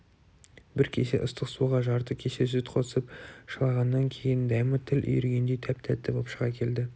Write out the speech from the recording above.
бір кесе ыстық суға жарты кесе сүт қосып шылағаннан кейін дәмі тіл үйіргендей тәп-тәтті боп шыға келді